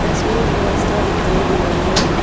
तस्वीर में रास्ता दिखाई दे रहा है।